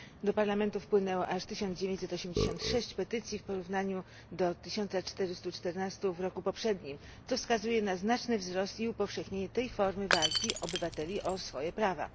Do Parlamentu wpłynęło aż 1986 petycji w porównaniu do 1414 w roku poprzednim, co wskazuje na znaczny wzrost i upowszechnienie tej formy walki obywateli o swoje prawa.